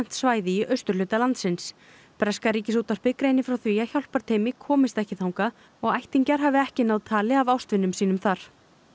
svæði í austurhluta landsins breska Ríkisútvarpið greinir frá því að komist ekki þangað og ættingjar hafi ekki náð tali af ástvinum þar